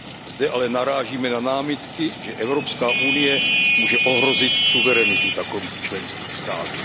Zde ale narážíme na námitky, že Evropská unie muže ohrozit suverenitu takových členských států.